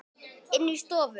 Inni í stofu.